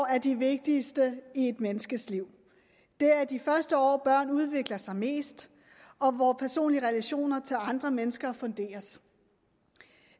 er de vigtigste i et menneskes liv det er i de første år børn udvikler sig mest og hvor personlige relationer til andre mennesker funderes